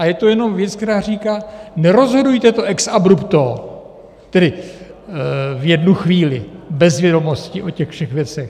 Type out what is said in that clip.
A je to jenom věc, která říká: nerozhodujte to ex abrupto, tedy v jednu chvíli bez vědomostí o těch všech věcech.